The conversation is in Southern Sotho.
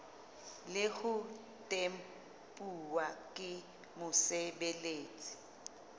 le ho tempuwa ke mosebeletsi